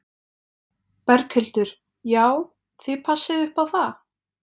Berghildur: Já, þið passið upp á það?